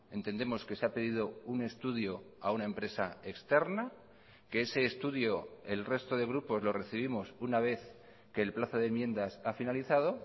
entendemos que se ha pedido un estudio a una empresa externa que ese estudio el resto de grupos lo recibimos una vez que el plazo de enmiendas ha finalizado